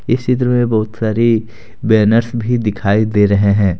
इस चित्र में बहुत सारी बैनर्स भी दिखाई दे रहे हैं।